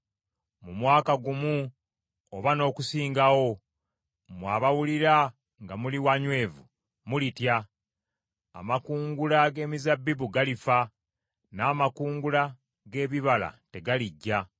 Mu mwaka gumu oba n’okusingawo, mmwe abawulira nga muli wanywevu, mulitya, amakungula g’emizabbibu galifa, n’amakungula g’ebibala tegalijja.